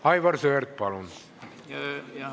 Aivar Sõerd, palun!